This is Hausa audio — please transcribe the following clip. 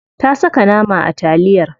Ta saka nama a taliyar.